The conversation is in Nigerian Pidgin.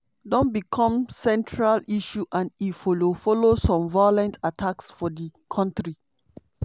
don become central issue and e follow follow some violent attacks for di kontri.